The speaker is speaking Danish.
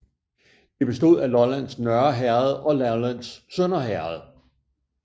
Det bestod af Lollands Nørre Herred og Lollands Sønder Herred